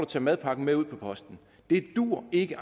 tage madpakken med ud på posten det duer ikke